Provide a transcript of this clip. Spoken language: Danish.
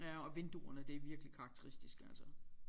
Ja og vinduerne det er virkelig karakteristisk altså